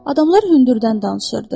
Adamlar hündürdən danışırdı.